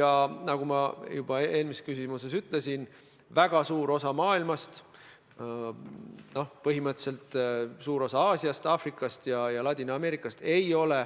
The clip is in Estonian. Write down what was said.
Ja nagu ma juba eelmisele küsimusele vastates ütlesin: väga suur osa maailmast – põhimõtteliselt suur osa Aasiast, Aafrikast ja Ladina-Ameerikast – ei ole